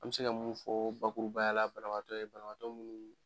An bɛ se ka mun fɔ bakurubayala banabagatɔ ye banabagatɔ munnu